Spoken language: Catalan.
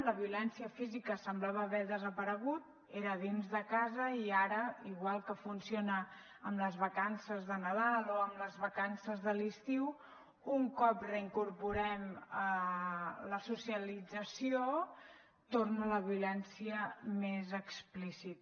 la violència física semblava haver desaparegut era dins de casa i ara igual que funciona amb les vacances de nadal o amb les vacances de l’estiu un cop reincorporem la socialització torna la violència més explícita